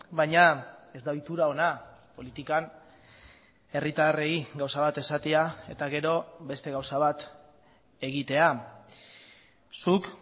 baina ez da ohitura ona politikan herritarrei gauza bat esatea eta gero beste gauza bat egitea zuk